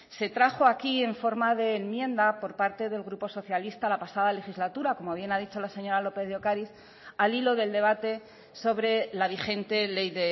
se trajo aquí en forma de enmienda por parte del grupo socialista la pasada legislatura como bien ha dicho la señora lópez de ocariz al hilo del debate sobre la vigente ley